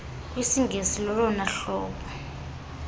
kwisingesi lolona hlobo